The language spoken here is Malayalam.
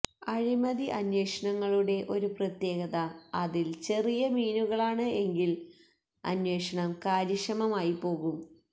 അഴിമതി അന്വേഷണങ്ങളുടെ ഒരു പ്രത്യേകത അതില് ചെറിയ മീനുകളാണ് എങ്കില് അന്വേഷണം കാര്യക്ഷമമായി പോവും